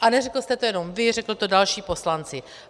A neřekl jste to nejenom vy, řekli to další poslanci.